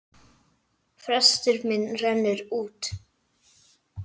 Frestur minn rennur út.